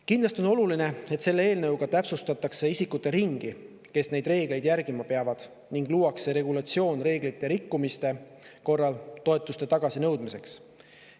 Kindlasti on tähtis, et selle eelnõuga täpsustatakse isikute ringi, kes neid reegleid järgima peavad, ning et luuakse regulatsioon reeglite rikkumiste korral toetuste tagasinõudmiseks.